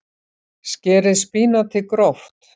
Skerið spínatið gróft.